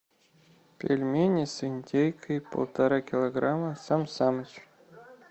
пельмени с индейкой полтора килограмма сан саныч